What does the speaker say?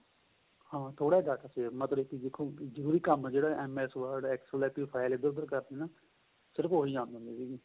ਹਾਂ ਥੋੜਾ ਜਾਂ data ਸੀਗਾ ਮਤਲਬ ਕਿ ਦੇਖੋ ਜਰੂਰੀ ਕੰਮ ਜਿਹੜਾ MS word excel ਏ ਕੋਈ file ਇੱਧਰ ਉੱਧਰ ਕਰਨੀ ਏ ਸਿਰਫ਼ ਉਹੀ ਆਦੇ ਹੁੰਦੇ ਸੀਗੇ